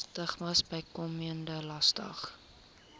stigmas bykomende laste